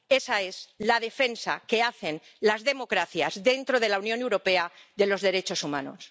Esa es la defensa que hacen las democracias dentro de la Unión Europea de los derechos humanos.